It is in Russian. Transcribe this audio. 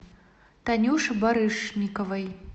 танюше барышниковой